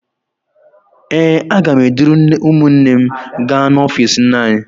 Ee, aga m eduru ụmụnne m gaa n'ọfiisi nne anyị.